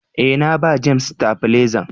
Eh, na ba " James " stafilezan.